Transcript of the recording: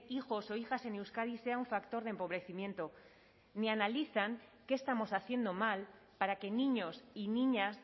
hijos o hijas en euskadi sea un factor de empobrecimiento ni analizan que estamos haciendo mal para que niños y niñas